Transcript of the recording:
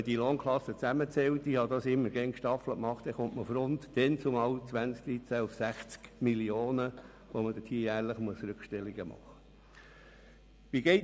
Zählte man die Lohnklassen zusammen, kam man 2013 auf 60 Mio. Franken Rückstellungen, die jährlich dafür zu machen waren.